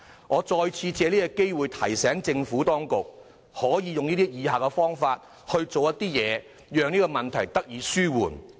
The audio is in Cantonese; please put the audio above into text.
我借此機會再次提醒政府當局，考慮採取以下方法讓他們的住屋問題得以紓緩。